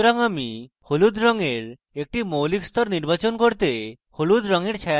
সুতরাং আমি হলুদ রঙের একটি মৌলিক so নির্বাচন করতে হলুদ রঙের ছায়াতে টিপব